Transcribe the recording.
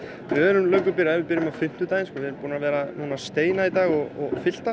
við erum löngu byrjaðir við byrjuðum á fimmtudaginn við erum búin að vera að steina í dag og